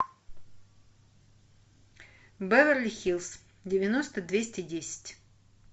беверли хиллз девяносто двести десять